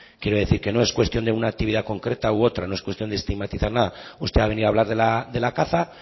quiero decir que no es cuestión de una actividad concreto u otra no es cuestión de estigmatizar nada usted ha venido a hablar de la caza